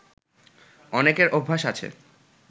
অনেকের অভ্যাস আছে